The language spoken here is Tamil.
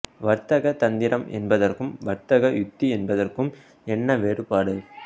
வர்த்தக தந்திரம் என்பதற்கும் வர்த்தக உத்தி என்பதற்கும் என்ன வேறுபாடு